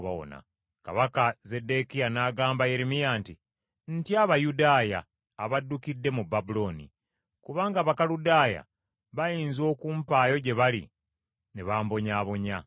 Kabaka Zeddekiya n’agamba Yeremiya nti, “Ntya Abayudaaya abaddukidde mu Babulooni, kubanga Abakaludaaya bayinza okumpaayo gye bali ne bambonyaabonya.”